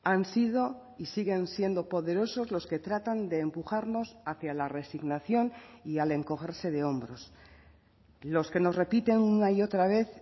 han sido y siguen siendo poderosos los que tratan de empujarnos hacia la resignación y al encogerse de hombros los que nos repiten una y otra vez